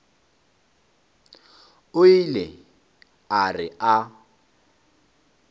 o ile a re a